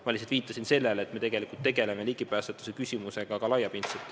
Ma lihtsalt viitasin sellele, et me tegelikult tegeleme ligipääsetavuse küsimusega laiapindselt.